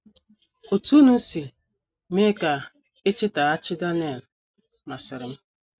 “ Otú unu si mee ka e chetaghachi Daniel masịrị m.